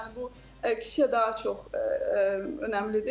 Yəni bu kişiyə daha çox önəmlidir.